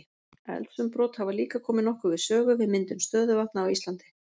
Eldsumbrot hafa líka komið nokkuð við sögu við myndun stöðuvatna á Íslandi.